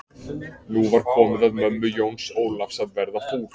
Nú var komið að mömmu Jóns Ólafs að verða fúl.